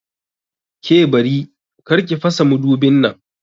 Ke Bari!kar ki fasa madubin nan!